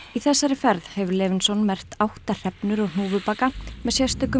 í þessari ferð hefur Levenson merkt átta hrefnur og hnúfubaka með sérstökum